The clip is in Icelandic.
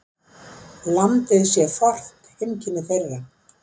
Landið sé fornt heimkynni þeirra.